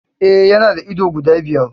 E, yana da ido guda biyar.